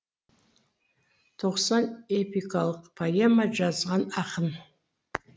тоқсан эпикалық поэма жазған ақын